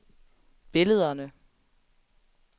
billederne